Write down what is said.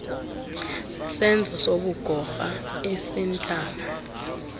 sisenzo sobugorha esintama